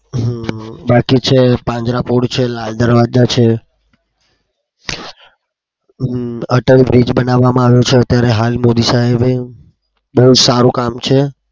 હમ બાકી છે પાંજરા પોળ છે. લાલ દરવાજા છે. અમ atal bridge બનાવવામાં આવ્યો છે. અત્યારે હાલ મોદી સાહેબે બધું સારું કામ છે.